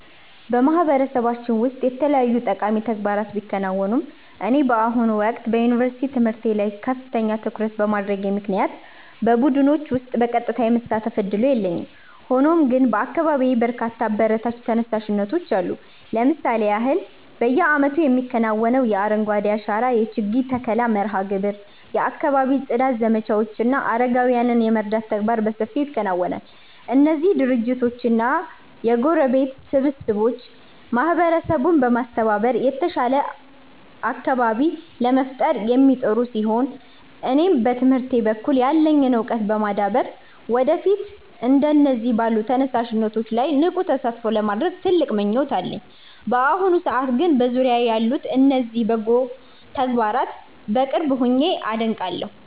በማህበረሰባችን ውስጥ የተለያዩ ጠቃሚ ተግባራት ቢከናወኑም፣ እኔ በአሁኑ ወቅት በዩኒቨርሲቲ ትምህርቴ ላይ ከፍተኛ ትኩረት በማድረጌ ምክንያት በቡድኖች ውስጥ በቀጥታ የመሳተፍ ዕድሉ የለኝም። ሆኖም ግን በአካባቢዬ በርካታ አበረታች ተነሳሽነቶች አሉ። ለምሳሌ ያህል፣ በየዓመቱ የሚከናወነው የአረንጓዴ አሻራ የችግኝ ተከላ መርሃ ግብር፣ የአካባቢ ጽዳት ዘመቻዎች እና አረጋውያንን የመርዳት ተግባራት በሰፊው ይከናወናሉ። እነዚህ ድርጅቶችና የጎረቤት ስብስቦች ማህበረሰቡን በማስተባበር የተሻለ አካባቢ ለመፍጠር የሚጥሩ ሲሆን፣ እኔም በትምህርቴ በኩል ያለኝን ዕውቀት በማዳበር ወደፊት እንደነዚህ ባሉ ተነሳሽነቶች ላይ ንቁ ተሳትፎ ለማድረግ ትልቅ ምኞት አለኝ። በአሁኑ ሰዓት ግን በዙሪያዬ ያሉትን እነዚህን በጎ ተግባራት በቅርብ ሆኜ አደንቃለሁ።